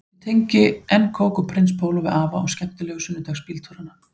Ég tengi enn kók og prins póló við afa og skemmtilegu sunnudagsbíltúrana